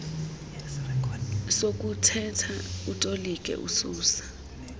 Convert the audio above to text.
sokuthetha utolike ususa